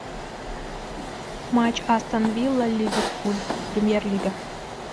матч астон вилла и ливерпуль премьер лига